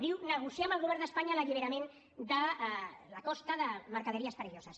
diu negociar amb el govern d’espanya l’alliberament de la costa de mercaderies perilloses